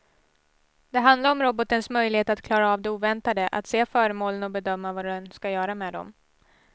Det handlar om robotens möjlighet att klara av det oväntade, att se föremålen och bedöma vad den ska göra med dem.